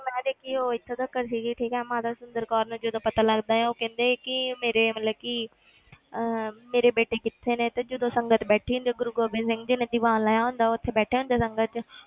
ਜਿਹੜੀ ਮੈਂ ਦੇਖੀ ਉਹ ਇੱਥੇ ਤੀਕਰ ਸੀਗੀ ਠੀਕ ਹੈ ਮਾਤਾ ਸੁੰਦਰ ਕੌਰ ਨੂੰ ਜਦੋਂ ਪਤਾ ਲੱਗਦਾ ਹੈ ਉਹ ਕਹਿੰਦੇ ਹੈ ਕਿ ਮੇਰੇ ਮਤਲਬ ਕਿ ਅਹ ਮੇਰੇ ਬੇਟੇ ਕਿੱਥੇ ਨੇ ਤੇ ਜਦੋਂ ਸੰਗਤ ਬੈਠੀ ਹੁੰਦੀ ਆ ਤੇ ਗੁਰੂ ਗੋਬਿੰਦ ਸਿੰਘ ਜੀ ਨੇ ਦੀਵਾਨ ਲਾਇਆ ਹੁੰਦਾ ਉੱਥੇ ਬੈਠੇ ਹੁੰਦੇ ਆ ਸੰਗਤ 'ਚ